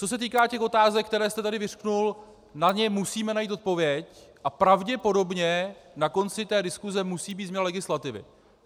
Co se týká těch otázek, které jste tady vyřkl, na ně musíme najít odpověď, a pravděpodobně na konci té diskuse musí být změna legislativy.